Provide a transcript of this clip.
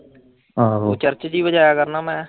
ਆਹੋ ਚਰਚ ਚ ਹੀ ਵਜਾਇਆ ਕਰਨਾ ਮੈਂ।